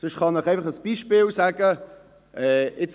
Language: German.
Sonst kann ich Ihnen einfach ein Beispiel nennen.